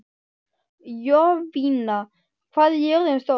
Jovina, hvað er jörðin stór?